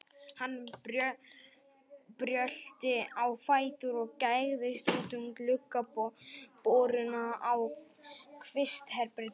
Hann brölti á fætur og gægðist út um gluggaboruna á kvistherberginu.